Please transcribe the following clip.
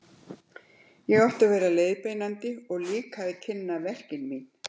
Ég átti að vera leiðbeinandi og líka að kynna verk mín.